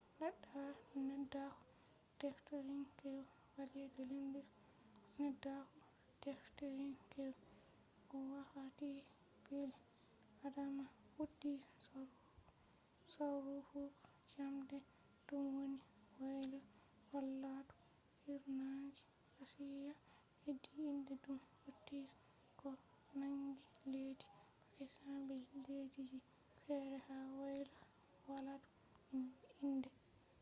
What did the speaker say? neddaaku-defterinkeewu indus valley neddaaku-defterinkeewu wakkati bil'adama fuddi sarrufuggo jamde dum wonni woyla walaadu hirnange asiya hedi india dum hauti ko nangi leddi pakistan be leddiji fere ha woyla walaadu hirnange india be woyla walaadu funange afghanistan